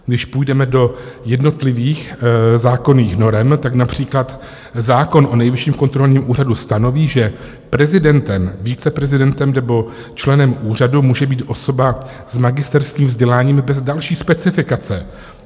Když půjdeme do jednotlivých zákonných norem, tak například zákon o Nejvyšším kontrolním úřadu stanoví, že prezidentem, viceprezidentem nebo členem úřadu může být osoba s magisterským vzděláním bez další specifikace.